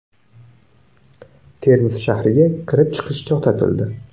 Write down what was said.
Termiz shahriga kirib-chiqish to‘xtatildi.